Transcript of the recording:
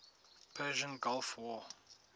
persian gulf war